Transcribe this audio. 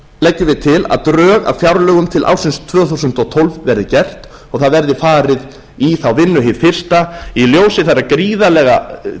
leggjum við til að drög að fjárlögum til ársins tvö þúsund og tólf verði gerð og það verði farið í þá vinnu hið fyrsta í